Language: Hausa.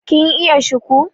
kin iya shiku